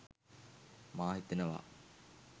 මා හිතනවා.